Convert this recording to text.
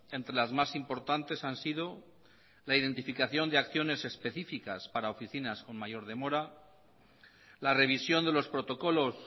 entre las más importantes han sido la identificación de acciones específicas para oficinas con mayor demora la revisión de los protocolos